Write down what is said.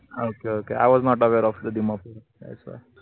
okokIwasnotawareofthe Dimapur thatswhy